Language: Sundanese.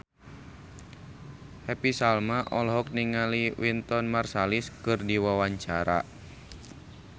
Happy Salma olohok ningali Wynton Marsalis keur diwawancara